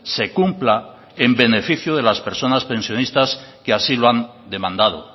se cumpla en beneficio de las personas pensionistas que así lo han demandado